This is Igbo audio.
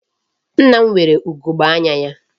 Nna m nwere ugegbe anya.